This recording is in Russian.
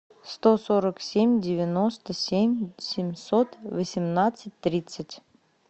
сто сорок семь девяносто семь семьсот восемнадцать тридцать